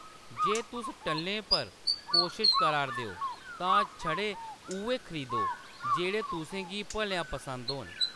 जे तुस टल्लें पर कोशश करा'रदे हो, तां छड़े उʼयै खरीदो जेह्‌‌ड़े तुसें गी भलेआं पसंद होन।